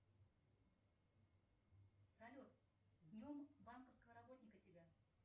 салют с днем банковского работника тебя